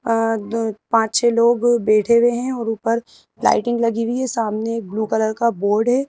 अ दु पांच छह लोग बैठे हुए हैं और ऊपर लाइटिंग लगी हुई है सामने ब्लू कलर का बोर्ड है।